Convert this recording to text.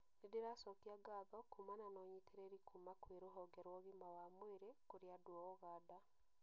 Nĩndĩracokia ngatho kumana na ũnyitĩrĩri kuma kwĩ rũhonge rwa ũgima wa mwĩrĩ kũrĩ andũ a ũganda